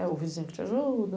É o vizinho que te ajuda.